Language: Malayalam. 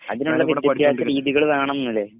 അതിനാണ് വിദ്യാഭ്യാസ രീതികള് വേണംന്ന് ല്ലേ